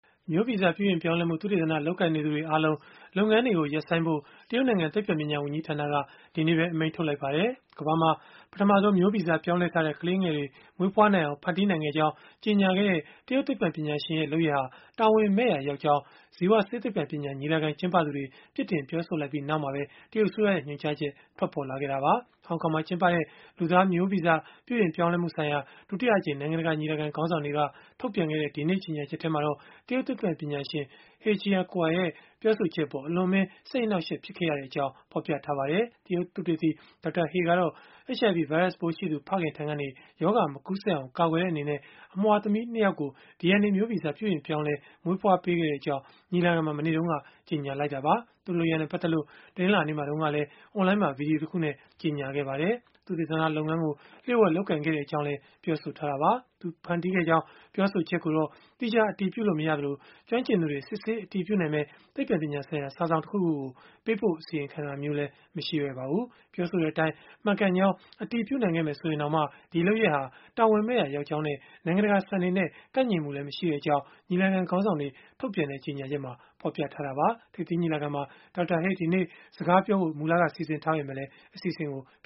မျိုးဗီဇပြုပြင်ပြောင်းလဲမှု သုတေသန လုပ်ကိုင်နေသူတွေအားလုံး လုပ်ငန်းတွေကို ရပ်ဆိုင်းဖို့ တရုတ်နိုင်ငံ သိပ္ပံပညာဝန်ကြီးဌာနက ဒီကနေ့ပဲ အမိန့်ထုတ်လိုက်ပါတယ်။ ကမ္ဘာမှာ ပထမဆုံး မျိုးဗီဇပြောင်းလဲထားတဲ့ ကလေးငယ်တွေ မွေးဖွားနိုင်အောင် ဖန်တီးနိုင်ခဲ့ကြောင်း ကြေညာခဲ့တဲ့ တရုတ်သိပ္ပံပညာရှင်ရဲ့ လုပ်ရပ်ဟာ တာဝန်မဲ့ရာရောက်ကြောင်း ဇီဝဆေးသိပ္ပံပညာ ညီလာခံ ကျင်းပသူတွေ ပြစ်တင်ပြောဆိုလိုက်ပြီး နောက်မှာပဲ တရုတ်အစိုးရရဲ့ ညွှန်ကြားချက် ထွက်ပေါ်လာတာပါ။ ဟောင်ကောင်မှာ ကျင်းပခဲ့တဲ့ လူသားမျိုးဗီဇ ပြုပြင်ပြောင်းလဲမှုဆိုင်ရာ ဒုတိယအကြိမ် နိုင်ငံတကာ ညီလာခံ ခေါင်းဆောင်တွေက ထုတ်ပြန်ခဲ့တဲ့ ဒီကနေ့ ကြေညာချက်မှာတော့ တရုတ်သိပ္ပံပညာရှင် He Jiankui ရဲ့ ပြောဆိုချက်အပေါ် အလွန်အမင်း စိတ်အနှောက်အယှက် ဖြစ်ခဲ့ရကြောင်းလည်း ဖော်ပြထားပါတယ်။ တရုတ်သုတေသီ Dr. He ကတော့ HIV ဗိုင်းရပ်စ်ပိုးရှိသူ ဖခင်ထံကနေ ရောဂါမကူးစက်အောင် ကာကွယ်တဲ့ အနေနဲ့ အမွှာသမီး ၂ ယောက်ကို DNA မျိုးဗီဇ ပြုပြင်ပြောင်းလဲ မွေးဖွားပေးခဲ့ကြောင်း ညီလာခံမှာ မနေ့တုန်းကပဲ ကြေညာခဲ့တာပါ။ သူ့လုပ်ရပ်နဲ့ ပတ်သက်လို့ တနင်္လာနေ့မှာတုန်းကလည်း အွန်လိုင်းမှာ ဗွီဒီယိုတခုနဲ့ ကြေညာထားပါတယ်။ သုတေသနလုပ်ငန်းကို လျို့ဝှက်လုပ်ကိုင်ခဲ့ကြောင်းလည်း ပြောဆိုခဲ့တာပါ။ သူဖန်တီးခဲ့ကြောင်း ပြောဆိုချက်ကိုတော့ သီးခြားအတည်ပြုလို့ မရသလို၊ ကျွမ်းကျင်သူတွေ စစ်ဆေးအတည်ပြုနိုင်မယ့် သိပ္ပံပညာဆိုင်ရာ စာစောင် တခုခုကို ပေးပို့အစီရင်ခံတာမျိုးတော့ မရှိပါဘူး။ ပြောဆိုတဲ့အတိုင်း မှန်ကန်ကြောင်း အတည်ပြုနိုင်ခဲ့မယ် ဆိုရင်တောင်၊ ဒီလုပ်ရပ်ဟာ တာဝန်မဲ့ရာ ရောက်ကြောင်းနဲ့ နိုင်ငံတကာစံတွေနဲ့ ကိုက်ညီမှုမရှိကြောင်းလည်း ညီလာခံခေါင်းဆောင်တွေ ထုတ်ပြန်တဲ့ ကြေညာချက်မှာ ဖော်ပြခဲ့တာပါ။ ထိပ်သီးညီလာခံမှာ Dr. He ဒီနေ့စကားပြောဖို့ စီစဉ်ထားပေမဲ့၊ အစီအစဉ်ကို ဖ